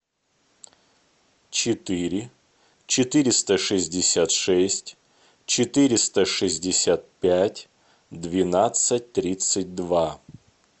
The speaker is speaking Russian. четыре четыреста шестьдесят шесть четыреста шестьдесят пять двенадцать тридцать два